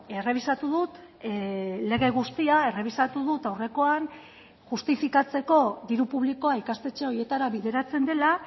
errebisatu dut lege guztia errebisatu dut aurrekoan justifikatzeko diru publikoa ikastetxe horietara bideratzen dela